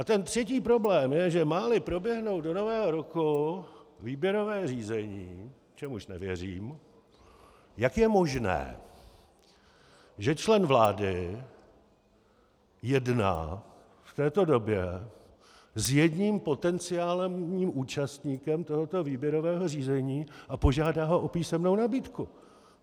A třetí problém je, že má-li proběhnout do Nového roku výběrové řízení, čemuž nevěřím, jak je možné, že člen vlády jedná v této době s jedním potenciálním účastníkem tohoto výběrového řízení a požádá ho o písemnou nabídku.